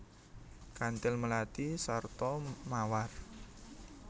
Kanthil melati sarta mawar